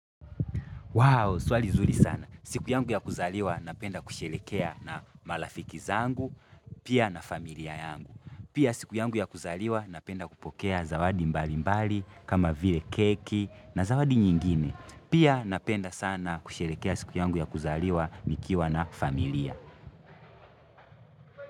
Wow, swali nzuri sana. Siku yangu ya kuzaliwa napenda kusherehekea na marafiki zangu, pia na familia yangu. Pia siku yangu ya kuzaliwa napenda kupokea zawadi mbali mbali, kama vile keki na zawadi nyingine. Pia napenda sana kusherehekea siku yangu ya kuzaliwa nikiwa na familia.